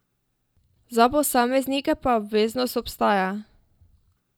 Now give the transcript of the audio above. Za posameznike pa obveznost ostaja.